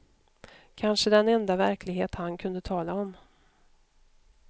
Kanske den enda verklighet han kunde tala om.